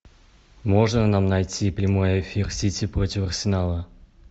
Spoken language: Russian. можно нам найти прямой эфир сити против арсенала